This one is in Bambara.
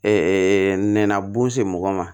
nɛnɛ bun se mɔgɔ ma